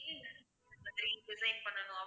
மாதிரி design பண்ணனுமா